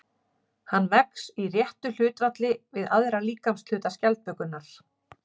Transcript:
Hann vex í réttu hlutfalli við aðra líkamshluta skjaldbökunnar.